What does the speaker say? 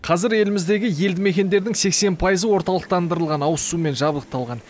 қазір еліміздегі елді мекендердің сексен пайызы орталықтандырылған ауызсумен жабдықталған